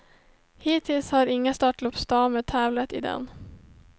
Hittills har inga störtloppsdamer tävlat i den.